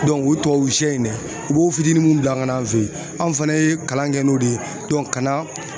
o tubabu shɛ in dɛ, u b'o fitini munnu bila an fɛ yen, anw fɛnɛ ye kalan kɛ n'o de ye ka na